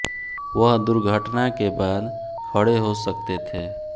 वह दुर्घटना के बाद खड़े हो सकते थे